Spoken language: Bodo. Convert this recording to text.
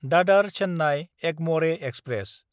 दादार–चेन्नाय एगमरे एक्सप्रेस